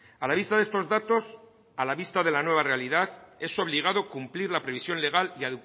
a la vista de estos datos a la vista de la nueva realidad es obligado cumplir la previsión legal y